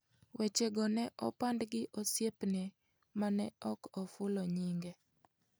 Wechego ne opand gi osiepne mane ok oful nyinge.